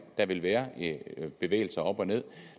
der vil være bevægelser op og nederst